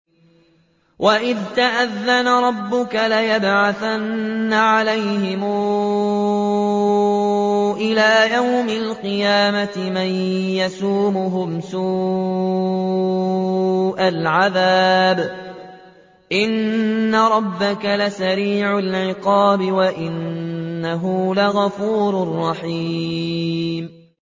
وَإِذْ تَأَذَّنَ رَبُّكَ لَيَبْعَثَنَّ عَلَيْهِمْ إِلَىٰ يَوْمِ الْقِيَامَةِ مَن يَسُومُهُمْ سُوءَ الْعَذَابِ ۗ إِنَّ رَبَّكَ لَسَرِيعُ الْعِقَابِ ۖ وَإِنَّهُ لَغَفُورٌ رَّحِيمٌ